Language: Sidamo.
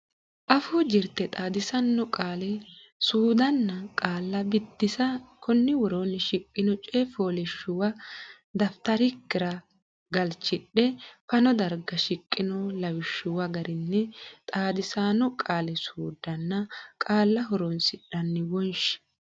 Afuu Jirte Xaadisaano Qaali suuddanna Qaalla Biddissa Konni woroonni shiqqino coy fooliishshuwa dafitarikkira galchidhe fano darga shiqqino lawishshuwa garinni xaadisaano qaali suuddanna qaalla horonsidhanni wonshi.